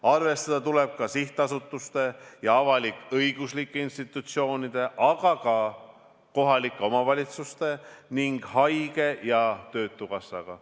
Arvestada tuleb sihtasutuste ja avalik-õiguslike institutsioonide, aga ka kohalike omavalitsuste ning haigekassa ja töötukassaga.